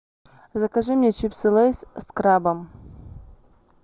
закажи мне чипсы лейс с крабом